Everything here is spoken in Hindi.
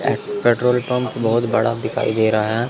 पेट्रोल पंप बहोत बड़ा दिखाई दे रहा है।